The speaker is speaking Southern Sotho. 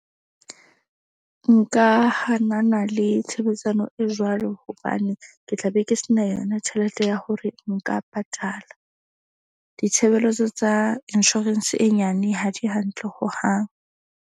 Nka hanana le tshebetsano e jwalo hobane ke tla be ke se na yona tjhelete ya hore nka patala. Ditshebeletso tsa insurance e nyane ha di hantle hohang.